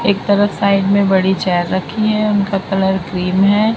एक तरफ साइड में बड़ी जाल रखी है। उनका कलर क्रीम है।